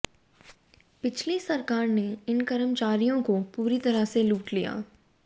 पिछली सरकार ने इन कर्मचारियों को पूरी तरह से लूट लिया